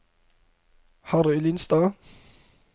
Harry Lindstad